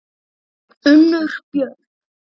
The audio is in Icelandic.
Unnur Björg.